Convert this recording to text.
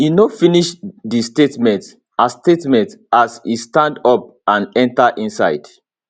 e no finish di statement as statement as e stand up and enta inside